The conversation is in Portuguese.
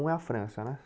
Um é a França, né?